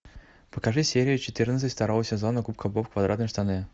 покажи серию четырнадцать второго сезона губка боб квадратные штаны